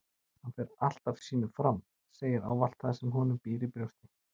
Hann fer alltaf sínu fram, segir ávallt það sem honum býr í brjósti